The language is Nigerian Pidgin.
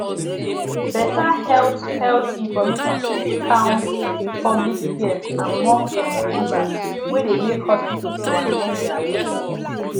better health health information fit calm public fears among some believers wey de make hospitals to amend their ways